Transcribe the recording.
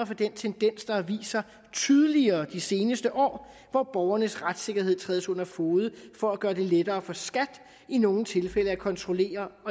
for den tendens der har vist sig tydeligere i de seneste år hvor borgernes retssikkerhed trædes under fode for at gøre det lettere for skat i nogle tilfælde at kontrollere